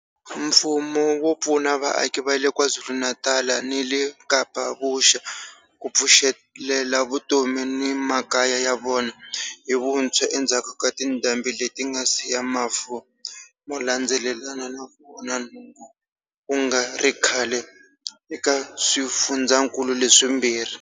Mfumo wu pfuna vaaki va le KwaZulu-Natal ni le Kapa Vuxa ku pfuxelela vutomi ni makaya ya vona hi vuntshwa endzhaku ka tindhambi leti nga siya mafu mo landzelelana ni ku onha nhundzu ku nga ri khale eka swifundzankulu leswimbirhi.